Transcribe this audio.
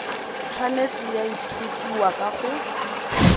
tshwanetse ya ithutiwa ka go